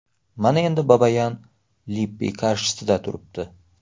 Mana endi Babayan Lippi qarshisida turibdi.